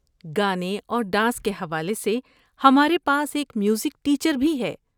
گانے اور ڈانس کے حوالے سے، ہمارے پاس ایک میوزک ٹیچر بھی ہیں۔